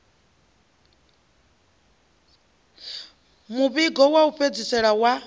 muvhigo wa u fhedzisela wa